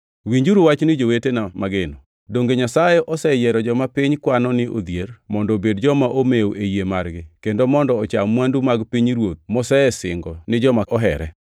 Winjuru wachni jowetena mageno: Donge Nyasaye oseyiero joma piny kwano ni odhier mondo obed joma omew e yie margi kendo mondo ocham mwandu mag pinyruoth mosesingo ni joma ohere?